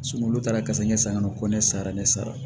olu taara kasa ɲɛ san ka na ko ne sara ne sara